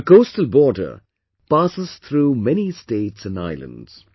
This coastal border passes through many states and islands